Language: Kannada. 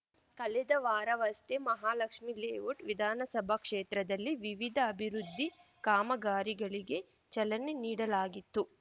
ಕಳೆದ ವಾರವಷ್ಟೇ ಮಹಾಲಕ್ಷ್ಮಿ ಲೇಔಟ್‌ ವಿಧಾನಸಭಾ ಕ್ಷೇತ್ರದಲ್ಲಿ ವಿವಿಧ ಅಭಿವೃದ್ಧಿ ಕಾಮಗಾರಿಗಳಿಗೆ ಚಲನೆ ನೀಡಲಾಗಿತ್ತು